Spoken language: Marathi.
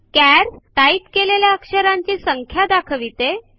चार्स - टाइप केलेल्या अक्षरांची संख्या दाखविते